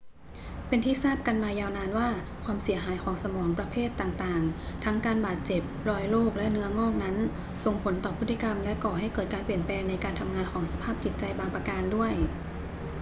เป็นที่ทราบกันมายาวนานว่า ความเสียหายของสมองประเภทต่าง ๆ ทั้งการบาดเจ็บ รอยโรค และเนื้องอกนั้น ส่งผลต่อพฤติกรรมและก่อให้เกิดการเปลี่ยนแปลงในการทำงานของสภาพจิตใจบางประการด้วย